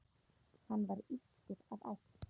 Hann var írskur að ætt.